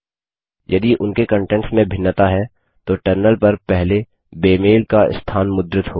यदि उनके कंटेंट्स में भिन्नता है तो टर्मिनल पर पहले बेमेल का स्थान मुद्रित होगा